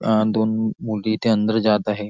अ दोन मुली इथे अंदर जात आहे.